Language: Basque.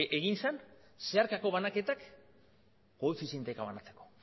egin zen zeharkako banaketak koefizienteka banatzeko